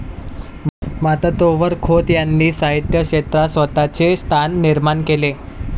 मात्र तोवर खोत यांनी साहित्य क्षेत्रात स्वतःचे स्थान निर्माण केले.